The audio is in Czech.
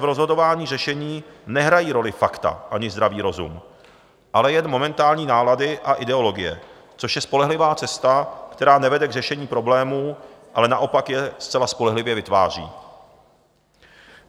V rozhodování řešení nehrají roli fakta ani zdravý rozum, ale jen momentální nálady a ideologie, což je spolehlivá cesta, která nevede k řešení problémů, ale naopak je zcela spolehlivě vytváří.